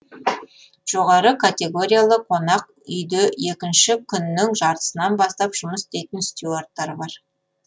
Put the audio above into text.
жоғары категориялы қонақ үйде екінше күннің жартысынан бастап жұмыс істейтін стюардтар бар